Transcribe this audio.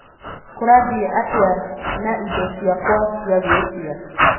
kũrathiĩ atia na indo ciakwa ciagwĩtia